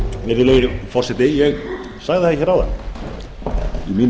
virðulegi forseti ég sagði það hér áðan í mínu